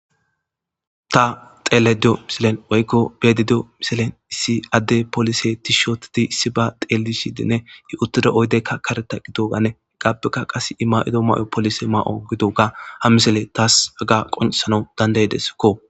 Ta dhelayda diyiyo misilen woyko be'aydadiyo misilen issi adde poliise tiishsha ottidi issibe xeelishidinne he uttida oydde kareththa gidoganni heggappekka qasi e may'iddo may'oy polisse may'o gidogga ha misiley tas qoncissanaw danddaysikko.